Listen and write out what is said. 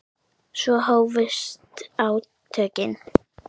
Svo hófust átökin.